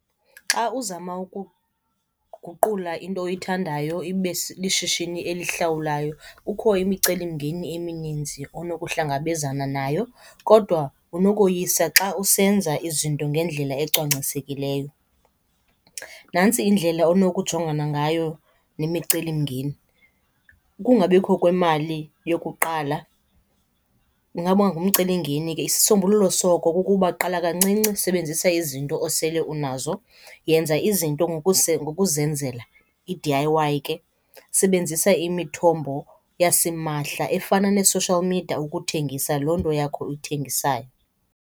Xa uzama ukuguqula into oyithandayo ibe lishishini elihlawulelwayo kukho imicelimngeni emininzi onokuhlangabezana nayo, kodwa unokoyisa xa usenza izinto ngendlela ecwangcisekileyo. Nantsi indlela onokujongana ngayo nemicelimngeni. Ukungabikho kwemali yokuqala kungaba ngumcelimngeni. Isisombululo soko kukuba qala kancinci, sebenzisa izinto osele unazo. Yenza izinto ngokuzenzela, i-D_I_Y ke. Sebenzisa imithombo yasimahla efana nee-social media ukuthengisa loo nto yakho uyithengisayo.